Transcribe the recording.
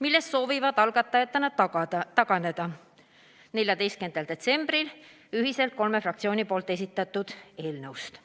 milles soovisid algatajatena taganeda 14. detsembril ühiselt kolme fraktsiooni esitatud eelnõust.